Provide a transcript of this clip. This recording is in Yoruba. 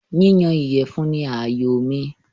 Yíyan ìyẹ̀fun ni àyòo mi.